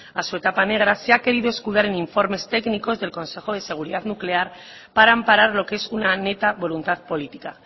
a su etapa negra se ha querido escudar en informes técnicos del consejo de seguridad nuclear para amparar lo que es una neta voluntad política